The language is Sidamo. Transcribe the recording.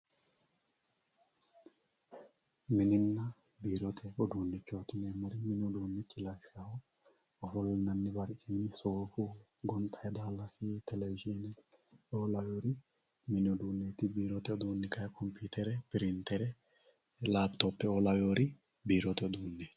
Mininna biirote uduunchoti yineemmohu ,mini uduunet yineemmohu lawishshaho ofollinanihu soofu, gonxanni daalasi, televizhine lawinori mini uduunet, biirote uduuni kayi komputere ,piritere, lapitopheo.